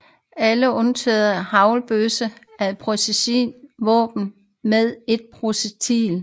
Alle undtagen haglbøssen er præcisionsvåben med ét projektil